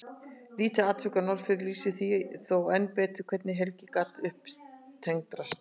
Lítið atvik frá Norðfirði lýsir því þó enn betur hvernig Helgi gat upptendrast.